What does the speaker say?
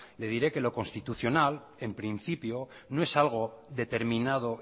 le diré que lo constitucional en principio no es algo determinado